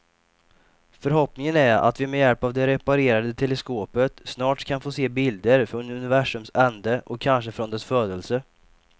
Förhoppningen är att vi med hjälp av det reparerade teleskopet snart kan få se bilder från universums ände och kanske från dess födelse.